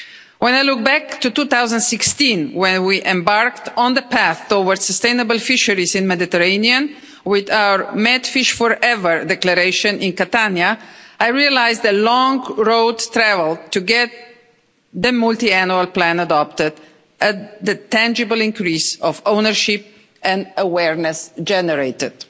When I look back to 2016, when we embarked on the path towards sustainable fisheries in the Mediterranean with our MedFish4Ever Declaration in Catania, I realise the long road travelled to get the multiannual plan adopted and the tangible increase of ownership and awareness generated.